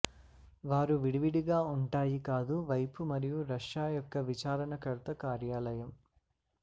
వారు విడివిడిగా ఉంటాయి కాదు వైపు మరియు రష్యా యొక్క విచారణకర్త కార్యాలయం